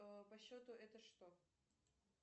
по счету это что